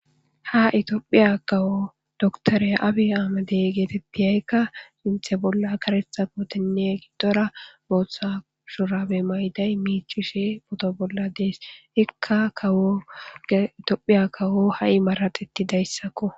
Ha Ethiopia kawo doctor abi aymede getetiyayikka Sinthe bolla karetha kotenne gidora botha shurabe Mayida micishe uto bolla des eikka kawo Tophiya kawo ha'i maxetidaysakko